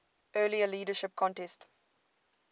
earlier leadership contest